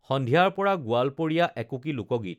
সন্ধিয়াৰ পৰা গোৱালপাৰীয়া একুঁকি লোকগীত